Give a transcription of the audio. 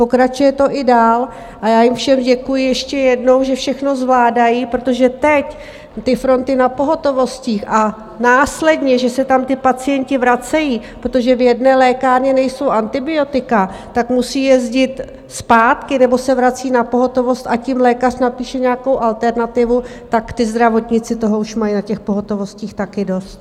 Pokračuje to i dál a já jim všem děkuji ještě jednou, že všechno zvládají, protože teď ty fronty na pohotovostech a následně, že se tam ti pacienti vracejí, protože v jedné lékárně nejsou antibiotika, tak musí jezdit zpátky nebo se vrací na pohotovost, ať jim lékař napíše nějakou alternativu, tak ti zdravotníci toho už mají na těch pohotovostech taky dost.